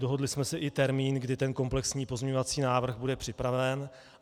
Dohodli jsme si i termín, kdy ten komplexní pozměňovací návrh bude připraven.